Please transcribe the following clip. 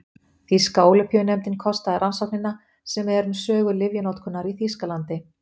Þýska Ólympíunefndin kostaði rannsóknina sem er um sögu lyfjanotkunar í Þýskalandi.